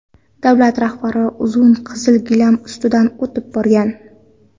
Davlat rahbari uzun qizil gilam ustidan o‘tib borgan.